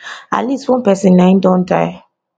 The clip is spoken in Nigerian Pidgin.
at least one pesin na im don die